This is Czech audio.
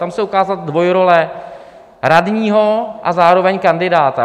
Tam se ukázala dvojrole radního a zároveň kandidáta.